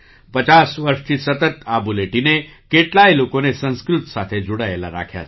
૫૦ વર્ષથી સતત આ બુલેટિને કેટલાય લોકોને સંસ્કૃત સાથે જોડાયેલા રાખ્યા છે